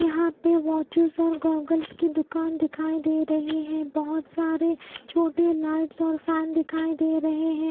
यहाँ पे वॉचेस और गोगल्स की दुकान दिखाई दे रही है बहुत सारे छोटी लाइट्स और फैन दिखाई दे रहे हैं --